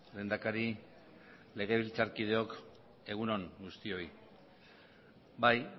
lehendakari legebiltzarkideok egun on guztioi bai